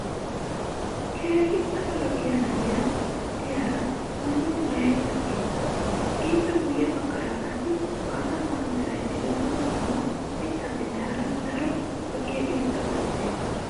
keehi pala lo'iya na'iya diyaara maayuwa maayada beetawusu. ippe guye bagaara qassi maata mala meray diyo dumma dumma mitatinne hara daro lo'iya irxxabati beetoosona.